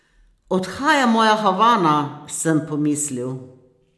Odhaja moja Havana, sem pomislil.